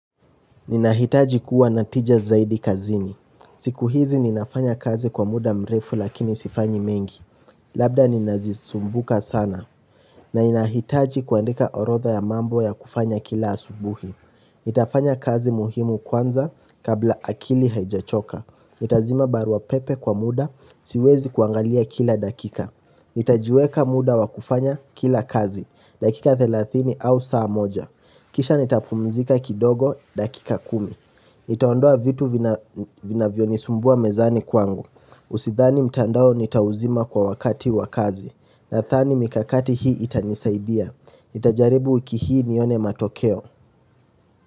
Ninahitaji kuwa natija zaidi kazini. Siku hizi ninafanya kazi kwa muda mrefu lakini sifanyi mengi. Labda ninazisumbuka sana. Na inahitaji kuandika orodha ya mambo ya kufanya kila asubuhi. Itafanya kazi muhimu kwanza kabla akili haijachoka. Itazima barua pepe kwa muda siwezi kuangalia kila dakika. Nitajiweka muda wakufanya kila kazi, dakika 30 au saa moja Kisha nitapumzika kidogo, dakika 10 Nitaondoa vitu vinavyo nisumbua mezani kwangu Usidhani mtandao nitauzima kwa wakati wakazi Nathani mikakati hii itanisaidia Nitajaribu wiki hii nione matokeo.